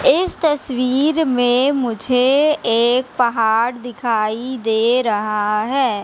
इस तस्वीर में मुझे एक पहाड़ दिखाई दे रहा है।